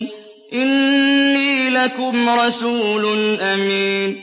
إِنِّي لَكُمْ رَسُولٌ أَمِينٌ